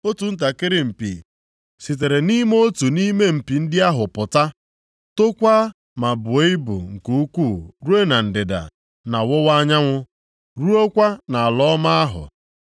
Otu ntakịrị mpi sitere nʼime otu nʼime mpi ndị ahụ pụta, tokwaa ma buo ibu nke ukwuu ruo na ndịda, na ọwụwa anyanwụ, ruokwa nʼala ọma ahụ